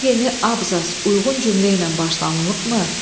Hər yeni abzas uyğun cümlə ilə başlanılıbmı?